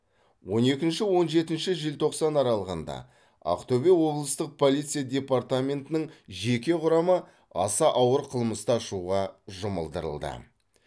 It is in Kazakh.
он екінші он жетінші желтоқсан аралығында ақтөбе облыстық полиция департаментінің жеке құрамы аса ауыр қылмысты ашуға жұмылдырылды